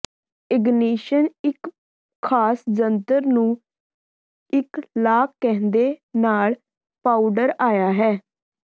ignition ਇੱਕ ਖਾਸ ਜੰਤਰ ਨੂੰ ਇੱਕ ਲਾਕ ਕਹਿੰਦੇ ਨਾਲ ਪਾਊਡਰ ਆਈ ਹੈ